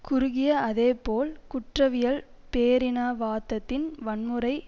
குறுகிய அதே போல் குற்றவியல் பேரினாவாதத்தின் வன்முறை